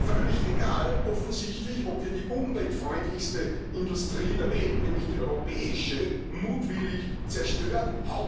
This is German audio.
Völlig egal offensichtlich, ob wir die umweltfreundlichste Industrie der Welt, nämlich die europäische, mutwillig zerstören.